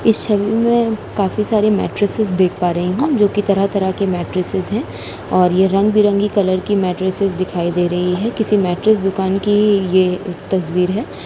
इस सेल में काफी सारी मेट्रिसएस देख पा रही हूँ जोकि तरह तरह की मेट्रिसएस है और ये रंग-बिरंगी कलर की मेट्रिसएस दिखाई दे रहे है। किसी मेट्रिसएस दुकान की ये तस्वीर है।